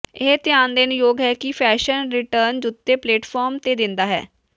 ਇਹ ਧਿਆਨ ਦੇਣ ਯੋਗ ਹੈ ਕਿ ਫੈਸ਼ਨ ਰਿਟਰਨ ਜੁੱਤੇ ਪਲੇਟਫਾਰਮ ਤੇ ਦਿੰਦਾ ਹੈ